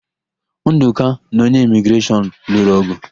Ndụka na onye Imigreshọn lụrụ ọ̀gụ̀.